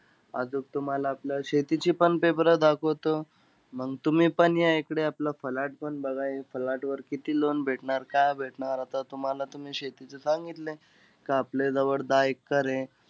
आजूक तुम्हाला आपलं शेतीचे पण paper दाखवतो. मंग तुम्हीपण या इकडे. आपला flat पण बघा. हे flat वर किती loan भेटणार, काय भेटणार? आता तुम्हाला, तुम्ही शेतीचं सांगितलं, का आपल्याजवळ दहा एक्कर आहे.